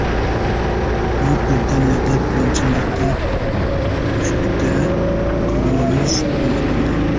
Buyuk Britaniyada birinchi marta mushukda koronavirus aniqlandi.